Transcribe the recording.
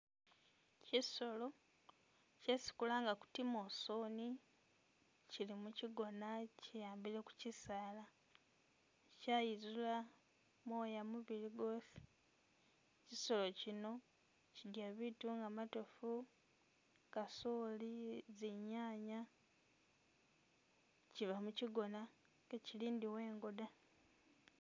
Chisolo chesi kulanga kuti i'mosoni, chilimu chigona chiyambile kuchi'saala, chayizula moya mubili gwosi, chisolo chino chilya biitu nga matoofu, kasooli, binyanya, chiba mu'chigona ichi lindiwe'ngo da